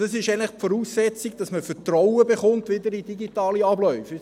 Das ist eigentlich die Voraussetzung, dass man wieder Vertrauen in digitale Abläufe bekommt.